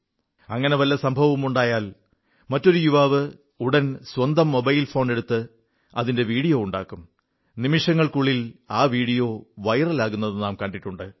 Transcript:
അങ്ങനെ വല്ല സംഭവവുമുണ്ടായാൽ മറ്റൊരു യുവാവ് ഉടൻ സ്വന്തം മൊബൈൽ ഫോണെടുത്ത് അതിന്റെ വീഡിയോ ഉണ്ടാക്കും നിമിഷങ്ങൾക്കുള്ളിൽ ആ വീഡിയോ വൈറലുമാകുന്നത് നാം കണ്ടിട്ടുണ്ട്